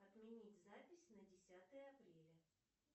отменить запись на десятое апреля